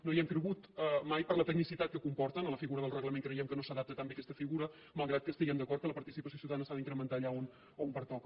no hi hem cregut mai per la tecnicitat que comporta la figura del reglament creiem que no s’adapta tan bé aquesta figura malgrat que estiguem d’acord que la participació ciutadana s’ha d’incrementar allà on pertoca